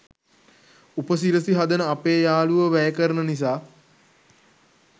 උපසිරසි හදන අපේ යාළුවො වැය කරන නිසා.